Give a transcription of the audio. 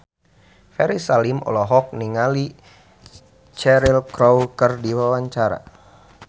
Ferry Salim olohok ningali Cheryl Crow keur diwawancara